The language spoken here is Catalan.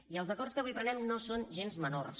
i els acords que avui prenem no són gens menors